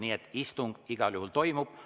Nii et istung igal juhul toimub.